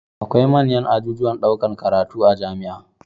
Akwai manyan ajujuwan ɗaukar karatu a jamia